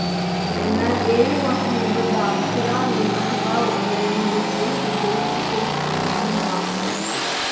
എന്നാൽ ഏഴ് മാസം മുമ്പ് ധാർച്ചുല നിയസഭാ ഉപതെരഞ്ഞെടുപ്പിൽ വിജയിച്ചിട്ടും അദ്ദേഹം വാക്ക് പാലിച്ചില്ല